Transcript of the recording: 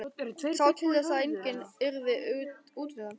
Sá til þess að enginn yrði útundan.